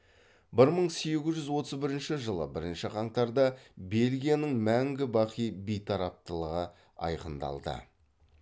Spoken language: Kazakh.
бір мың сегіз жүз отыз бірінші жылы бірінші қаңтарда бельгияның мәңгі бақи бейтараптылығы айқындалды